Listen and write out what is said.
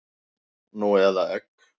Nú eða egg?